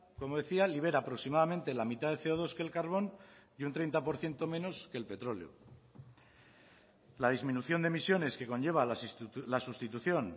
como decía libera aproximadamente la mitad de ce o dos que el carbón y un treinta por ciento menos que el petróleo la disminución de emisiones que conlleva la sustitución